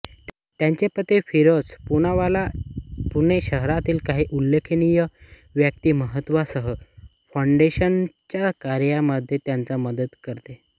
त्यांचे पती फिरोज पूनावाला पुणे शहरातील काही उल्लेखनीय व्यक्तिमत्त्वांसह फाउंडेशनच्या कार्यामध्ये त्यांना मदत करते